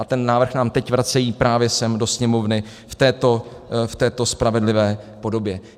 A ten návrh nám teď vracejí právě sem do Sněmovny v této spravedlivé podobě.